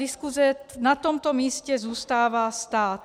Diskuse na tomto místě zůstává stát.